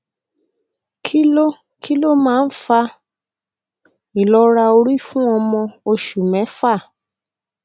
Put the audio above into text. kí ló kí ló máa ń fa ìlọra orí fún ọmọ oṣù mẹfà